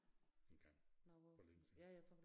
Engang for længe siden